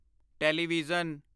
television